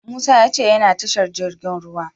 Musa ya ce yana tashar jirgin ruwa.